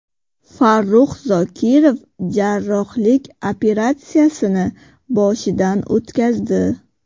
Farrux Zokirov jarrohlik operatsiyasini boshidan o‘tkazdi.